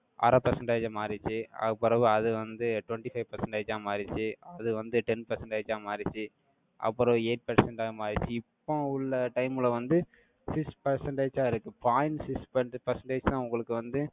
அரை percentage ஆ மாறிச்சு. அதுக்குப் பிறகு, அது வந்து, twenty five percentage ஆ மாறிச்சு. அது வந்து, ten percentage ஆ மாறிச்சு. அப்புறம், eight percent ஆ மாறிச்சு. இப்போ உள்ள, time ல வந்து, six percentage ஆ இருக்கு. Point six perce~ percentage தான், உங்களுக்கு வந்து,